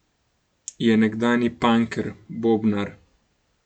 Je nekdanji panker, bobnar.